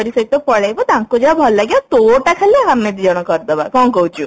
ତାଙ୍କରି ସହିତ ପଳେଇବୁ ତାଙ୍କୁ ଯାହା ଭଲ ଲାଗିବ ଆଉ ତୋ ଟା ଖାଲି ଆମେ ଦି ଜଣ କରିଦବା କଣ କହୁଛୁ